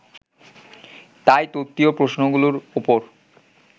তাই তত্ত্বীয় প্রশ্নগুলোর ওপর